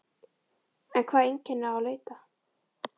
En hvaða einkenna á að leita?